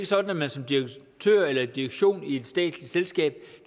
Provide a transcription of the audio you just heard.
sådan at man som direktør eller direktion i et statsligt selskab